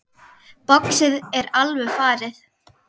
Boxið er alveg farið.